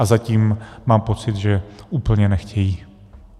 A zatím mám pocit, že úplně nechtějí.